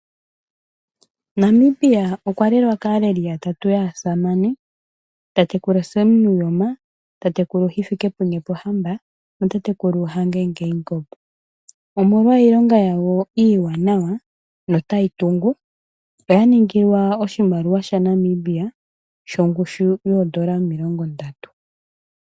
Namibia okwa lelwa kaaleli yeli yatatu aasamane, tatekulu Sam Nuuyoma, tatekulu Hifikepunye Pohamba natatekulu Hage Geingob, omolwa iilonga yawo iiwanawa notayi tungu oya ningilwa oshimaliwa shaNamibia shongushu yoodolla omilongo ndatu.